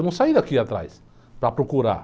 Eu não saí daqui atrás para procurar